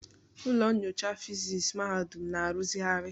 Ụlọ nyocha fịsis mahadum na-arụzigharị